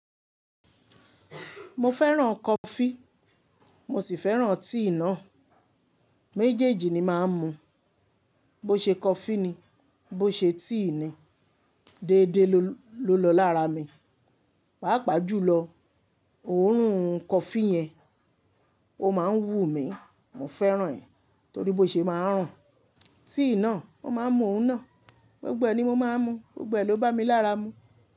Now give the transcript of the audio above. Mo fẹ́ràn coffee mo sì fẹ́ràn tea náà. Méjèèjì ni máa ń mu. Bo ṣe coffee ni, bo ṣe tea ni, déédéé ló lọ lára mi. Pàápàá jùlọ, òórùn coffee yẹn, ó máa ń wú mi. Mo fẹ́ràn ẹ́ torí bó ṣe máa ń ràn. Tíì náà, mo máa ń mú òun náà. Gbogbo e ni mo máa ń mú, gbogbo ẹ ló bá mi lára mu.